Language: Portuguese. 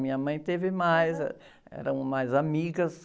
Minha mãe teve mais, ãh, eram mais amigas.